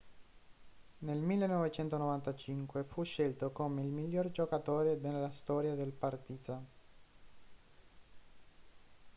nel 1995 fu scelto come il miglior giocatore nella storia del partizan